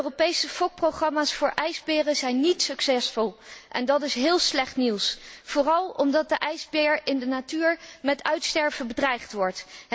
De Europese fokprogramma's voor ijsberen zijn niet succesvol en dat is heel slecht nieuws, vooral omdat de ijsbeer in de natuur met uitsterven bedreigd wordt.